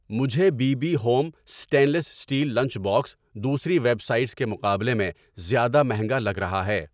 مجھے B B home stainless steel lunch box دوسری websites کے مقابلے میں زیادہ مہنگا لگ رہا ہے